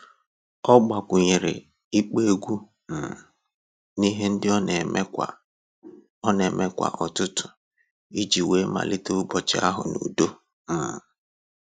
Ọ gbakwunyere ịkpọ egwu um n'ihe ndị ọ na-eme kwa ọ na-eme kwa ụtụtụ iji wee malite ụbọchị ahụ n'udo. um